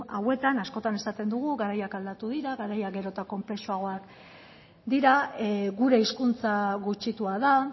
hauetan askotan esaten dugu garaiak aldatu dira garaiak gero eta konplexuagoak dira gure hizkuntza gutxitua da